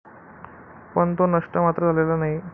पण तो नष्ट मात्र झालेला नाही.